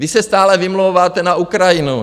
Vy se stále vymlouváte na Ukrajinu.